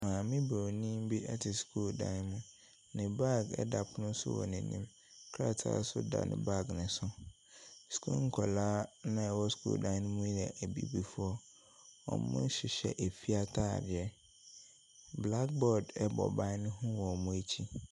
Maame bronin bi ɛte sukuu dan mu. Ne baage ɛda pono so wɔ n’anim, krataa so da ne baage ne so. Sukuu nkwadaa na ɛwɔ suku ne mu yɛ abibifoɔ, wɔhyehyɛ afie ntaadeɛ, blackboard ɛbɔ ban ne ho wɔ wɔn akyi.